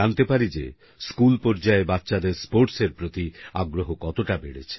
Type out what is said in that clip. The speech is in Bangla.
জানতে পারি যে স্কুলপর্যায়ে বাচ্চাদের স্পোর্টসের প্রতি আগ্রহ কতটা বেড়ছে